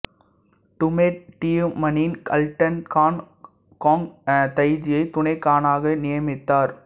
Tumed தியுமனின் Altan Khan கொங் தயிஜியை துணை கானாக நியமித்தார்